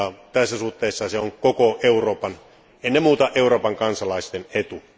Tässä suhteessa se on koko Euroopan, ennen muuta Euroopan kansalaisten etu.